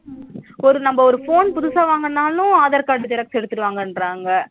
ஒரு நம்ம ரொம்ப phone புதுசா வாங்குனாலும் aadhar card xerox எடுத்துட்டு வாங்கன்றாங்க